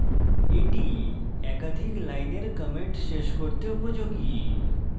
এটি একাধিক লাইনের comments শেষ করতে উপযোগী